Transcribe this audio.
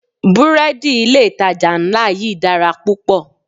Búrẹ́dì ilé ìtajà ńlá yí dára púpọ̀.